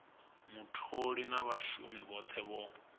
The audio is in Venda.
mutholi na vhashumi vhothe vho